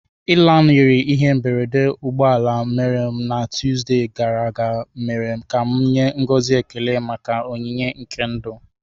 Ịlanarị ihe mberede ụgbọ ala mere na Tuesday gara aga mere ka m nye ngọzi ekele maka onyinye nke ndụ.